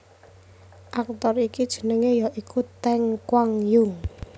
Aktor iki jenengé ya iku Teng Kuang Yung